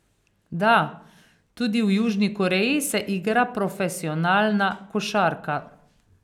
Da, tudi v Južni Koreji se igra profesionalna košarka.